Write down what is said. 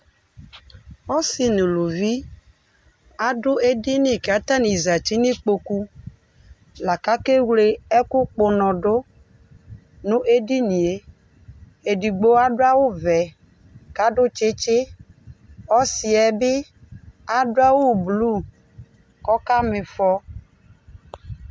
Ɔsi nʋ ʋlʋvi adʋ edini kʋ atani zati nʋ ikpokʋ lakʋ akewle ɛkʋkpɔ ʋnɔdʋ nʋ edinie edigbo adʋ awʋvɛ kʋ adʋ tsitsi ɔsiyɛbi adʋ awʋblu kʋ akama ifɔ